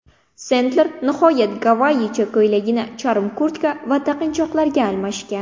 Sendler nihoyat gavayicha ko‘ylagini charm kurtka va taqinchoqlarga almashgan.